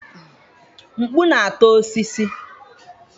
Mkpu na-ata osisi.